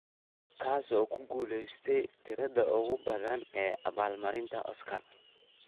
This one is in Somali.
kaas oo ku guulaystey tirada ugu badan ee abaal marinta oscar